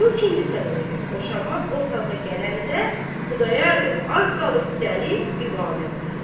Bu ikinci səbəbə görə boşanmaq ortalığa gələndə Xudayar bəy az qalırdı dəli divanə olsun.